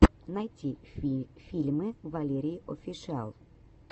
найти фильмы валерииофишиал